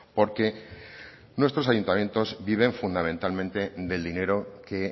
porque nuestros ayuntamiento viven fundamentalmente del dinero que